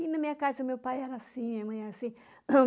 E na minha casa, meu pai era assim, a mãe era assim.